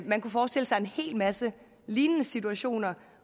man kunne forestille sig en hel masse lignende situationer